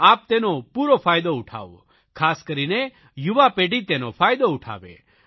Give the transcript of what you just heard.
આપ તેનો પૂરો ફાયદો ઉઠાવો ખાસ કરીને યુવા પેઢી તેનો ફાયદો ઉઠાવે